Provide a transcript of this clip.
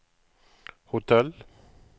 hotell